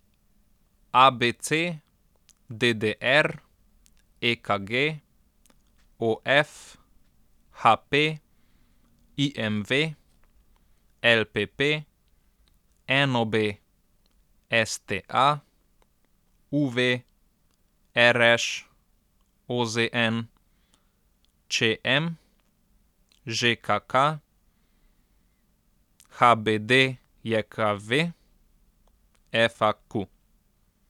A B C; D D R; E K G; O F; H P; I M V; L P P; N O B; S T A; U V; R Š; O Z N; Č M; Ž K K; H B D J K V; F A Q.